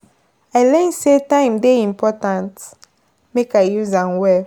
I learn say time dey important; make I use am well.